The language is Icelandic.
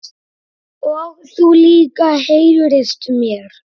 Og þú líka heyrist mér